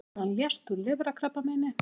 Þegar hann lést úr lifrarkrabbameini